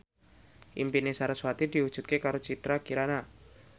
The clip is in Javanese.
impine sarasvati diwujudke karo Citra Kirana